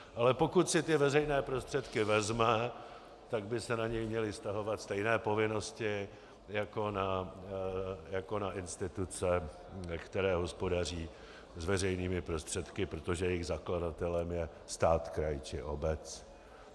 Ale pokud si ty veřejné prostředky vezme, tak by se na něj měly vztahovat stejné povinnosti jako na instituce, které hospodaří s veřejnými prostředky, protože jejich zakladatelem je stát, kraj či obec.